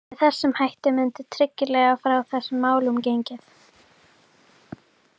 Með þessum hætti mundi tryggilega frá þessum málum gengið.